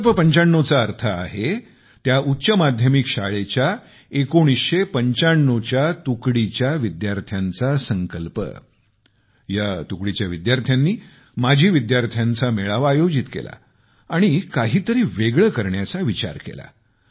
संकल्प 95 चा अर्थ आहे त्या उच्च माध्यमिक शाळेच्या 1995 च्या तुकडीच्या विद्यार्थ्यांचा संकल्प या तुकडीच्या विद्यार्थ्यांनी माजी विद्यार्थ्यांचा मेळावा आयोजित केला आणि काहीतरी वेगळे करण्याचा विचार केला